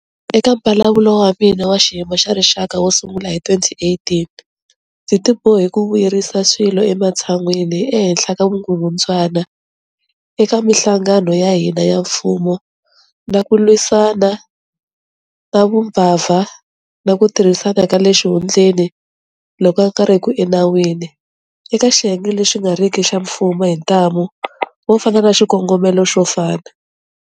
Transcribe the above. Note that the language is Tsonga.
Eka Mbulavulo wa mina wa Xiyimo xa Rixaka wo sungula hi 2018, ndzi tibohe ku vuyerisa swilo ematshan'weni ehenhla ka vukungundzwana eka mihlangano ya hina ya mfumo na ku lwisana na vumbabva na ku tirhisana ka le xihundleni loku nga riki enawini eka xiyenge lexi nga riki xa mfumo hi ntamu wo fana na xikongomelo xo fana.